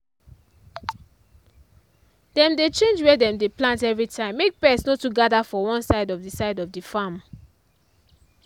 dem dey change where dem plant every time make pest no too gather for one side of the side of the farm